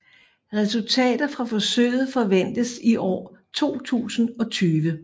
Resultater fra forsøget forventes i april 2020